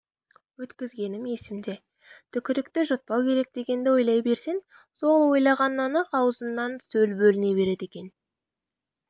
өткізгенім есімде түкірікті жұтпау керек дегенді ойлай берсең сол ойлағаннан-ақ аузыңнан сөл бөліне береді екен